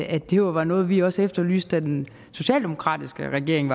at det jo var noget vi også efterlyste da den socialdemokratiske regering